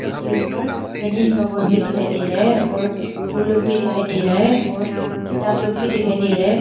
उसके ऊपर गणेश भगवान भी दिखाई दे रहा है और फूल लोग भी दिखाई दे रहा है और किताब लोग भी दिखाई दे रहा है।